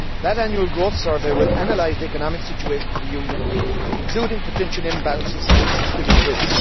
That annual growth survey will analyse the economic situation of the Union, including potential imbalances and systemic risk.